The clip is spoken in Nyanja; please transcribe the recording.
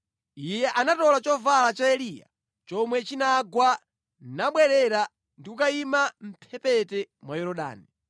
Iye anatola chovala cha Eliya chomwe chinagwa nabwerera ndi kukayima mʼmphepete mwa Yorodani.